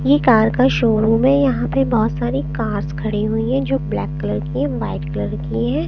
ये कार का शोरूम है यहाँ पर बहोत सारी कार्स खड़ी हुई हैं जो ब्लैक कलर की वाइट कलर की हैं।